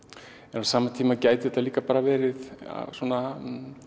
en á sama tíma gæti þetta líka bara verið svona